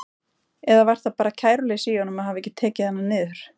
Eða var það bara kæruleysi í honum að hafa ekki tekið hana niður?